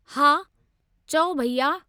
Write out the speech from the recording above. हा, चओ भैया?